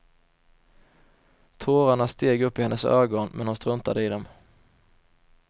Tårarna steg upp i hennes ögon men hon struntade i dem.